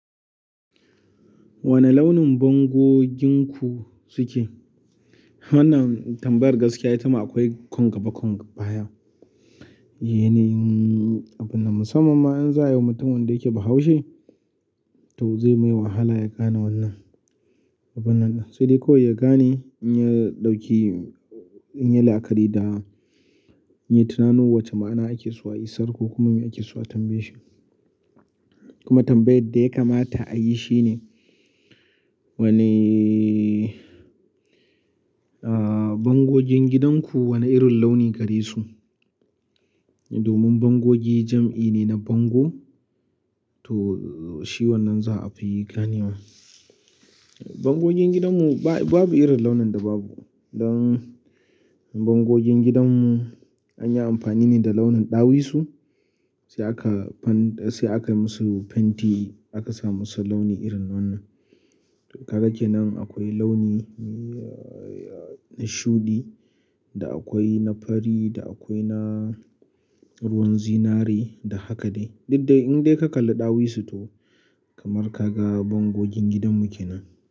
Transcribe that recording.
Wani launin bangoginku suke? Wannan tambayar gaskiya ita ma akwai ƙungaba ƙungabaya. Yane abin na musamman ma in za a yi wa mutum wanda yake bahaushe, to zai mai wahala ya gane wannan abun nan. Sai dai kawai ya gane in ya ɗauki, in ya yi lakari da, in ya tunanuw wacce ma'ana ake so a isar ko kuma me ake so a tambaye shi. Kuma tambayar da ya kamata a yi shine wane, ah bangogin gidanku wane irin launi gare su? Domin bangogi jam'i ne na bango to shi wannan za a fi ganewa. Bangogen gidanmu ba, babu irin launin da babu. Dan bangogin gidanmu an yi amfani ne da launin ɗawisu sai aka dan, sai aka yi musu fenti aka sa musu launi irin wannan. To kaga ke nan akwai launi na shuɗi da akwai na fari da akwai na ruwan zinari da haka dai. Duk dai in dai ka kalla ɗawisu to kamar ka ga bangogin gidanmu ke nan.